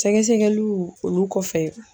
Sɛgɛsɛgɛliw olu kɔfɛ